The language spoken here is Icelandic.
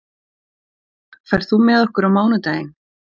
Elínbjörg, ferð þú með okkur á mánudaginn?